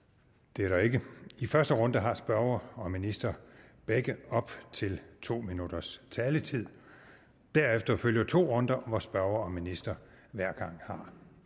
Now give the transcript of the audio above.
det er der ikke i første runde har spørger og minister begge op til to minutters taletid derefter følger to runder hvor spørger og minister hver gang har